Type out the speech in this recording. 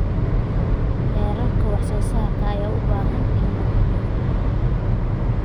Heerarka wax soo saarka ayaa u baahan in la hubiyo.